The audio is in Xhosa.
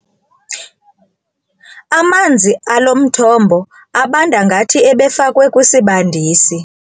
Amanzi alo mthombo abanda ngathi ebefakwe kwisibandisi.